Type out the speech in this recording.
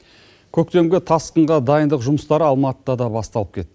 көктемгі тасқынға дайындық жұмыстары алматыда да басталып кетті